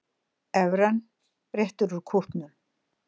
Evran réttir út kútnum